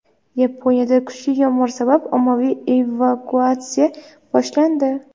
Yaponiyada kuchli yomg‘ir sabab ommaviy evakuatsiya boshlandi.